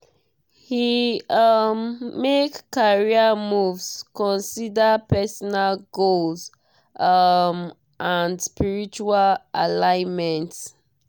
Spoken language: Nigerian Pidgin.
he um make career moves consider personal goals um and spiritual alignment.